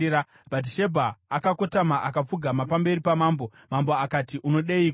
Bhatishebha akakotama, akapfugama pamberi pamambo. Mambo akati, “Unodeiko?”